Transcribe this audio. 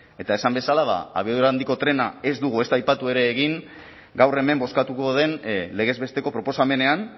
eta esan bezala abiadura handiko trena ez dugu ezta aipatu ere egin gaur hemen bozkatuko den legez besteko proposamenean